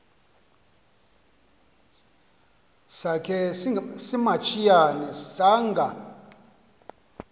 sakhe simantshiyane sanga